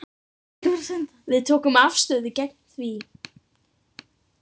Við tökum afstöðu gegn því.